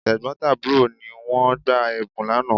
Tẹ̀gbọ́n tàbúrò ni wọ́n gba Ẹ̀bùn lánàá